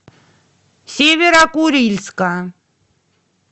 северо курильска